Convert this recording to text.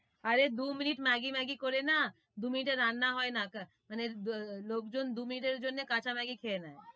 আরে দু minute Maggi, Maggi করে না, দু মিনিটে রান্না হয় না, মানে লোক জন দু মিনিট এর জন্যে কাঁচা ম্যাগি খেয়ে নেই,